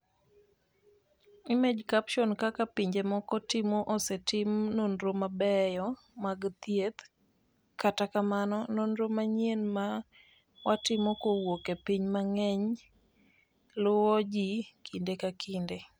Image caption Kaka pinje moko timo Osetim nonro mabeyo mag thieth, kata kamano, nonro manyien ma watimo kowuok e pinje mang’eny luwo ji kinde ka kinde.